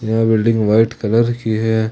यह building white colour की है ।